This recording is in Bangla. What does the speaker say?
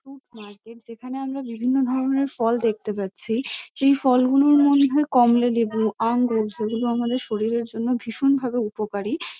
ফুড মার্কেট যেখানে আমরা বিভিন্ন ধরণের ফল দেখতে পাচ্ছি। সেই ফলগুলো মনে হয় কমলালেবু আঙ্গুর যেগুলো আমাদের শরীরের জন্য ভীষণভাবে উপকারী।